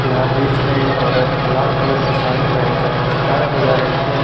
यहां बीच में एक औरत लाल कलर की साड़ी पहनकर सितारा बजा रही है।